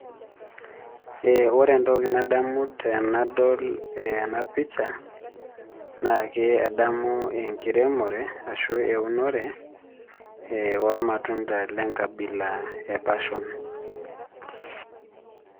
Ee ore entoki nadamu tenadol ena pisha naa ke adamu enkiremore ashu aa eunore ee ormatunda le nkabila e passion.